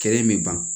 Kɛrɛ in bɛ ban